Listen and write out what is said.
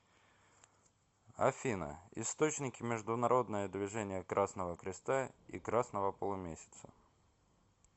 афина источники международное движение красного креста и красного полумесяца